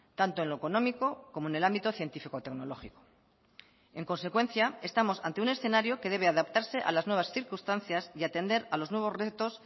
tanto en lo económico como en el ámbito científico tecnológico en consecuencia estamos ante un escenario que debe adaptarse a las nuevas circunstancias y atender a los nuevos retos